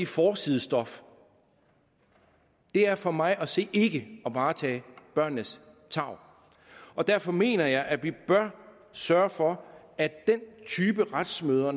forsidestof det er for mig at se ikke at varetage børnenes tarv derfor mener jeg at vi bør sørge for at den type retsmøder